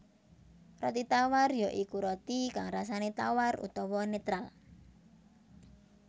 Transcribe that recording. Roti tawar ya iku roti kang rasané tawar utawa netral